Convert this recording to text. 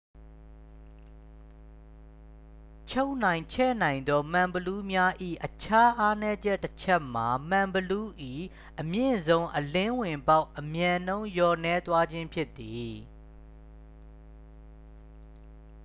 ချုံ့နိုင်ချဲ့နိုင်သောမှန်ဘီလူးများ၏ အခြားအားနည်းချက်တချက်မှာ မှန်ဘီလူး၏ အမြင့်ဆုံးအလင်းဝင်ပေါက် အမြန်နှုန်း လျော့နည်းသွားခြင်းဖြစ်သည်။